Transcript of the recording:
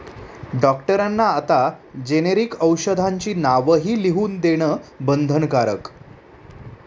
डॉक्टरांना आता जेनेरिक औषधांची नावंही लिहून देणं बंधनकारक